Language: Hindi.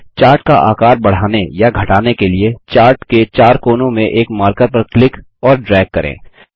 चार्ट का आकार बढ़ाने या घटाने के लिए चार्ट के चार कोनों में एक मार्कर पर क्लिक और ड्रैग करें